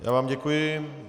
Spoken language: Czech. Já vám děkuji.